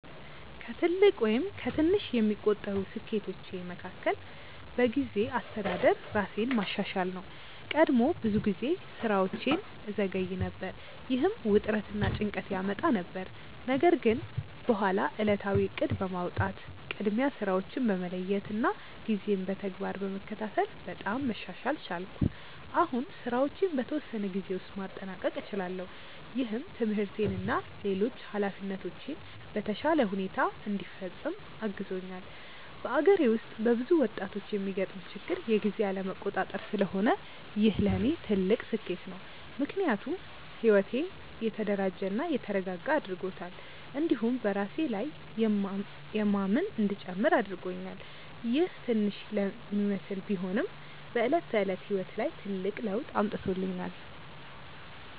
ከትልቅ ወይም ከትንሽ የሚቆጠሩ ስኬቶቼ መካከል በጊዜ አስተዳደር ራሴን ማሻሻል ነው። ቀድሞ ብዙ ጊዜ ስራዎቼን እዘገይ ነበር፣ ይህም ውጥረት እና ጭንቀት ያመጣ ነበር። ነገር ግን በኋላ ዕለታዊ እቅድ በማውጣት፣ ቅድሚያ ስራዎችን በመለየት እና ጊዜን በተግባር በመከታተል በጣም መሻሻል ቻልኩ። አሁን ስራዎቼን በተወሰነ ጊዜ ውስጥ ማጠናቀቅ እችላለሁ፣ ይህም ትምህርቴን እና ሌሎች ኃላፊነቶቼን በተሻለ ሁኔታ እንዲፈጽም አግዞኛል። በአገሬ ውስጥ በብዙ ወጣቶች የሚገጥም ችግር የጊዜ አለመቆጣጠር ስለሆነ ይህ ለእኔ ትልቅ ስኬት ነው። ምክንያቱም ሕይወቴን የተደራጀ እና የተረጋጋ አድርጎታል፣ እንዲሁም በራሴ ላይ የማምን እንዲጨምር አድርጎኛል። ይህ ትንሽ ለሚመስል ቢሆንም በዕለት ተዕለት ሕይወት ላይ ትልቅ ለውጥ አምጥቶኛል።